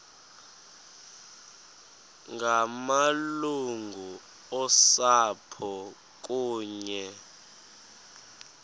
ngamalungu osapho kunye